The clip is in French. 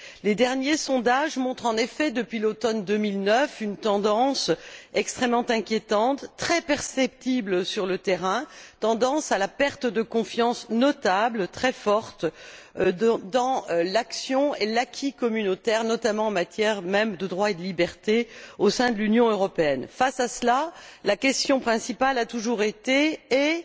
Les derniers sondages montrent, en effet, depuis l'automne 2009, une tendance extrêmement inquiétante, très perceptible sur le terrain, à une perte de confiance notable, très forte, dans l'action et l'acquis communautaire, notamment même, en matière de droits et de libertés, au sein de l'Union européenne. Face à cela, la question essentielle a toujours été et